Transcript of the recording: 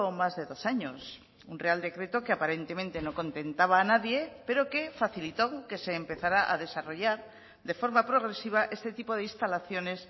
más de dos años un real decreto que aparentemente no contentaba a nadie pero que facilitó que se empezará a desarrollar de forma progresiva este tipo de instalaciones